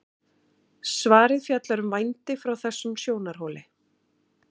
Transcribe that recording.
svarið fjallar um vændi frá þessum sjónarhóli